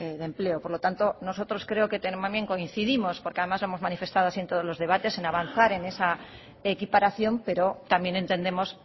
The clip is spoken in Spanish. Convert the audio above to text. de empleo por lo tanto nosotros creo que también coincidimos porque además lo hemos manifestado así en todos los debates en avanzar en esa equiparación pero también entendemos